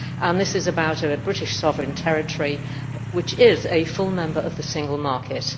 This is about a British sovereign territory which is a full member of the single market.